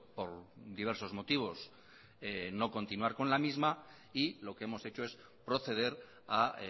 por diversos motivos no continuar con la misma y lo que hemos hecho es proceder a